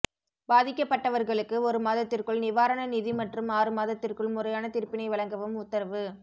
பாதிக்கப்பட்டவர்களுக்கு ஒரு மாதத்திற்குள் நிவாரண நிதி மற்றும் ஆறு மாதத்திற்குள் முறையான தீர்ப்பினை வழங்கவும் உத்தரவு